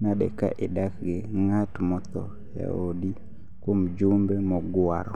nade ka idak gi ng'at motho e odi kuom jumbe mogwaro?